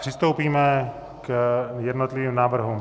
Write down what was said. Přistoupíme k jednotlivým návrhům.